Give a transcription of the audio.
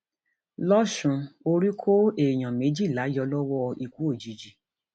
lọsùn orí kó èèyàn méjìlá yọ lọwọ ikú òjijì